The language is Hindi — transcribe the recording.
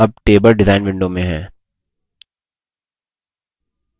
हम अब table design window में हैं